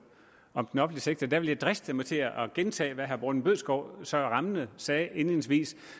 om den offentlige sektor vil jeg driste mig til at gentage hvad herre morten bødskov så rammende sagde indledningsvis